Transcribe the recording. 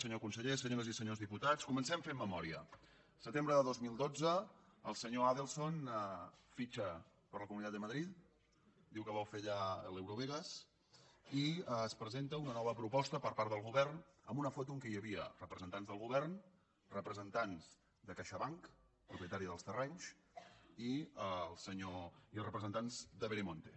senyor conseller senyores i senyors diputats comencem fent memòria setembre del dos mil dotze el senyor adelson fitxa per la comunitat de madrid diu que vol fer allà l’eurovegas i es presenta una nova proposta per part del govern amb una foto en què hi havia representants del govern representants de caixabank propietària dels terrenys i representants de veremonte